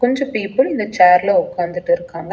கொஞ்ச பீப்பிள் இந்த சேர்ல உக்காந்திட்டுருக்காங்க.